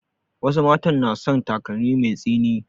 Wasu matan na son takalmi mai tsini